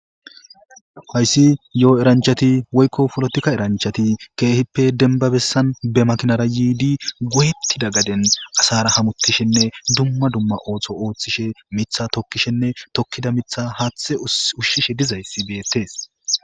Hayssi yo'o eranchati woykko polotika eranchati keehippe denba bessan ba makinara yiidi goyettida gaden asara hamutishenne dumma dumma ooso ooththishe ,mitha tokkishenne tokkida mitha haaththe ushshishe diza issi beettees.